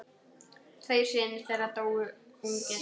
Tveir synir þeirra dóu ungir.